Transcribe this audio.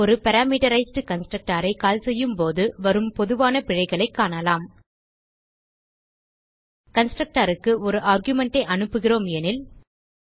ஒரு பாராமீட்டரைஸ்ட் constructorஐ கால் செய்யும்போது வரும் பொதுவான பிழைகளைக் காணலாம் constructorக்கு ஒரு ஆர்குமென்ட் ஐ அனுப்புகிறோம் எனில்